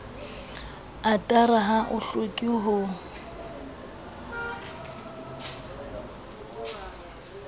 otara ha o hloke ho